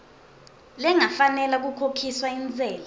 lengafanela kukhokhiswa intsela